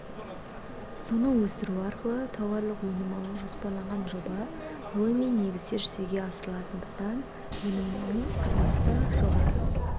соны өсіру арқылы тауарлық өнім алу жоспарланған жоба ғылыми негізде жүзеге асырылатындықтан өнімнің сапасы да жоғары